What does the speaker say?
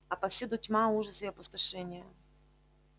а повсюду тьма ужас и опустошение